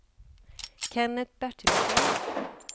Kennet Bertilsson